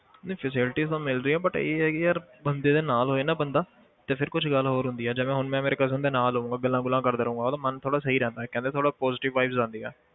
ਨਹੀਂ facility ਤਾਂ ਮਿਲ ਰਹੀ ਹੈ but ਇਹ ਹੈ ਕਿ ਯਾਰ ਬੰਦੇ ਦੇ ਨਾਲ ਹੋਏ ਨਾ ਬੰਦਾ ਤੇ ਫਿਰ ਕੁਛ ਗੱਲ ਹੋਰ ਹੁੰਦੀ ਹੈ ਜਿਵੇਂ ਹੁਣ ਮੈਂ ਮੇਰੇ cousin ਦੇ ਨਾਲ ਹੋਊਂਗਾ ਗੱਲਾਂ ਗੁੱਲਾਂ ਕਰਦਾ ਰਹਾਂਗਾ, ਉਹਦਾ ਮਨ ਥੋੜ੍ਹਾ ਸਹੀ ਰਹਿੰਦਾ ਹੈ ਕਹਿੰਦੇ ਥੋੜ੍ਹਾ positive vibes ਆਦੀਆ